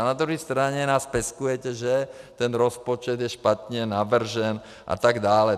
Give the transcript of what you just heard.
A na druhé straně nás peskujete, že ten rozpočet je špatně navržen a tak dále.